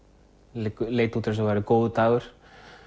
leit allt út eins og það væri góður dagur